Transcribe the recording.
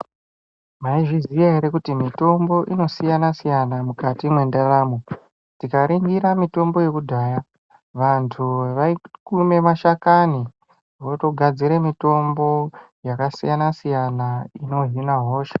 Maizviziya ere kuti mitombo inosiyana siyana mukati mwendaramo tikaringira mitombo yekudhaya vanntu vaikume mashakani votogadzire mitombo yakasiyana siyana inohina hosha.